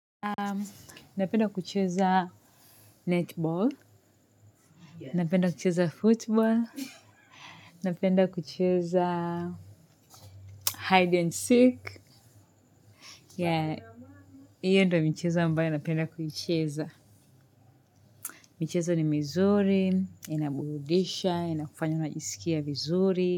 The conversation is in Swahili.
Napenda kucheza netball, napenda kucheza football, napenda kucheza hide and seek. Iyo ndo michezo ambayo napenda kuicheza. Michezo ni mizuri, inaburudisha, inakufanya unajiskia vizuri.